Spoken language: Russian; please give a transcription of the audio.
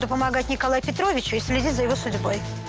то помогать николаю петровичу и следить за его судьбой